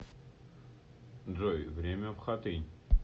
джой время в хатынь